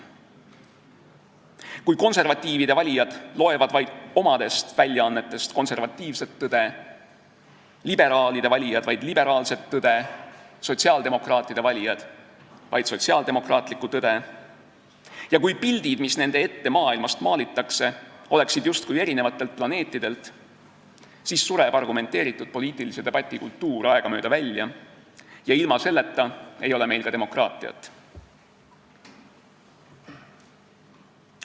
Kui konservatiivide valijad loevad vaid omadest väljaannetest konservatiivset tõde, liberaalide valijad vaid liberaalset tõde, sotsiaaldemokraatide valijad vaid sotsiaaldemokraatlikku tõde ja kui pildid maailmast, mis nende silme ette maalitakse, oleksid pärit justkui eri planeetidelt, siis sureb argumenteeritud poliitilise debati kultuur aegamööda välja ja ilma selleta ei ole meil ka demokraatiat.